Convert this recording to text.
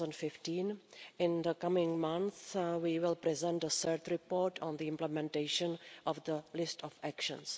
2015. In the coming months we will present a third report on the implementation of the list of actions.